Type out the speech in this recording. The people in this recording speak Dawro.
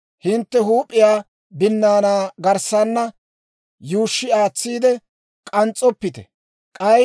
« ‹Hintte huup'iyaa binnaanaa garssana yuushshi aatsiide k'ans's'oppite; k'ay